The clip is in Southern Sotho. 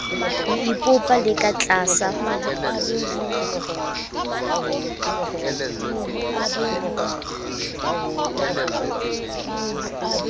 ho ipopa le ka tlasa